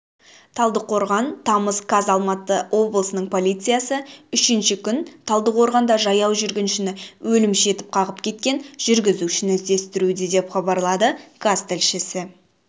талдықорған тамыз қаз алматы облысының полициясы үшінші күн талдықорғанда жаяу жүргіншіні өлімші етіп қағып кеткен жүргізушіні іздестіруде деп хабарлады қаз тілшісі